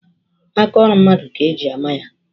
Aka ọrụ mmadụ ka eji ama ya.